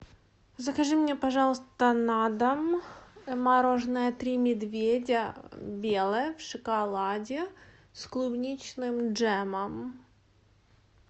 закажи мне пожалуйста на дом мороженое три медведя белое в шоколаде с клубничным джемом